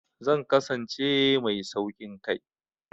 Zan kasance mai sauƙin kai.